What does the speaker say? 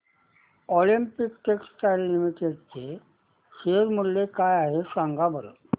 Olympia textiles limited चे share मूल्य काय आहे सांगा बरं